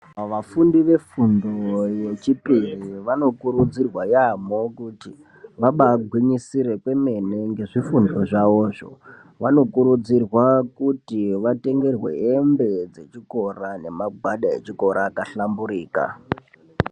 Vafundi vefundo yechipiri vanokurudzirwa yaamho kuti vabagwinyisire kwemene nezvifundo zvavozvo vanokurudzirwa kuti vatengerwe hembe dzechikora nemagwada echikora ahlamburuka .